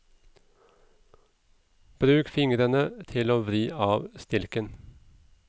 Bruk fingrene til å vri av stilken.